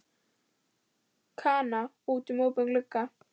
Kana út um opinn glugga.